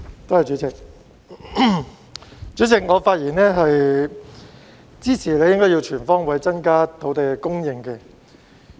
代理主席，我發言支持"全方位增加土地供應"議案。